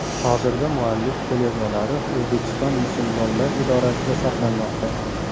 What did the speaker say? Hozirda muallif qo‘lyozmalari O‘zbekiston Musulmonlar idorasida saqlanmoqda.